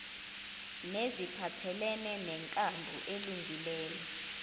neziphathelene nenkambo elungileyo